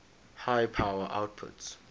high power outputs